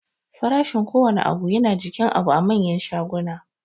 Farashin kowanne abu yana jikin abu a manyan shaguna